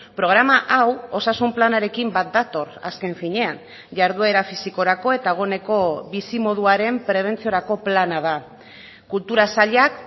programa hau osasun planarekin bat dator azken finean jarduera fisikorako eta egoneko bizimoduaren prebentziorako plana da kultura sailak